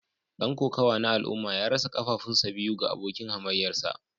Dan kokawa na al'umma ya rasa kafafunsa biyu ga abokin hamayyarsa